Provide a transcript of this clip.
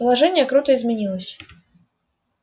положение круто изменилось